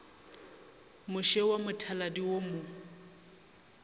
moše wa mothaladi wo mo